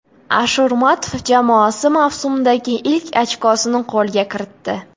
Ashurmatov jamoasi mavsumdagi ilk ochkosini qo‘lga kiritdi.